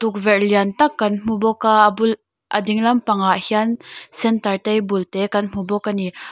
tukverh lain tak kan hmu bawk a a bulh a ding lampangah hian center table te kan hmu bawk a ni.